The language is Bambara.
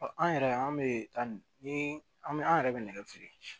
Ɔ an yɛrɛ an bɛ taa ni an bɛ an yɛrɛ bɛ nɛgɛ feere